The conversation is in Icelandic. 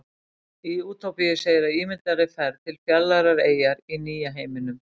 Í Útópíu segir af ímyndaðri ferð til fjarlægrar eyjar í Nýja heiminum.